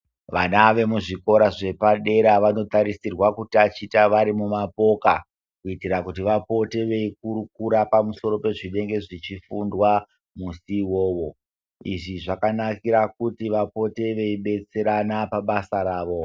Vana vemuzvikora zvepadera vanotarisirwa kutaticha vari mumapoka kuti vapote vechikurukura pamusoro pezvinenge zvechifundwa musi uwowo. Izvi zvakanakire kuti vapote veidetserana pabasa ravo.